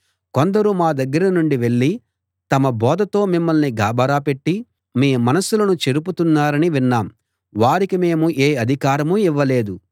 కొందరు మా దగ్గర నుండి వెళ్ళి తమ బోధతో మిమ్మల్ని గాబరా పెట్టి మీ మనసులను చెరుపుతున్నారని విన్నాం వారికి మేము ఏ అధికారమూ ఇవ్వలేదు